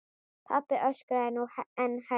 Pabbi öskraði nú enn hærra.